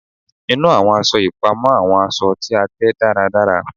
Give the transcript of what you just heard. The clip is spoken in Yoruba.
Inu awọn aṣọ ipamọ awọn aṣọ ti a tẹ daradara